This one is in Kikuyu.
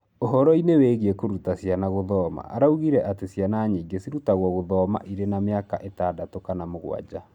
Ũhoro-inĩ wĩgiĩ kũruta ciana gũthoma, araugire atĩ ciana nyingĩ cirutagwo gũthoma irĩ na mĩaka ĩtandatũ kana mũgwanja.